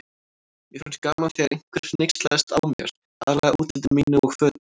Mér fannst gaman þegar einhver hneykslaðist á mér, aðallega útliti mínu og fötum.